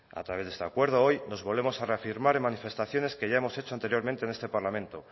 a través de este acuerdo hoy nos volvemos a reafirmar en manifestaciones que ya hemos hecho anteriormente en este parlamento